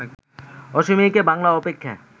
অসমীয়াকে বাংলা অপেক্ষা